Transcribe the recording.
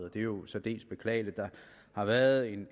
og det er jo særdeles beklageligt der har været et